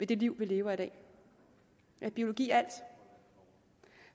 det liv vi lever i dag er biologi alt